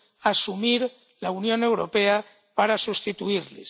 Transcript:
asumir la Unión Europea para sustituirles.